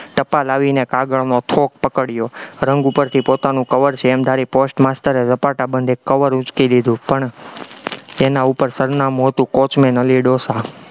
ટપાલ આવી ને કાગળમાં ફોક પકડ્યો, રંગ ઉપરથી પોતાનું કવર છે એમ ધારી post master એ રપાટાબંધ એક કવર ઉંચકી લીધું, પણ એના ઉપર સરનામું હતું કોચમેન અલી ડોસો